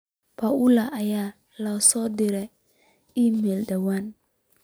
paulo ayaa ii soo dirtay iimayl dhawaan